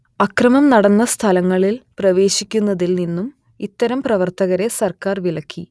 അക്രമം നടന്ന സ്ഥലങ്ങളിൽ പ്രവേശിക്കുന്നതിൽ നിന്നും ഇത്തരം പ്രവർത്തകരെ സർക്കാർ വിലക്കി